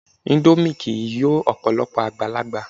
Índómì kìí yọ Ọ̀pọ̀lọ́pọ̀ àgbàlagbà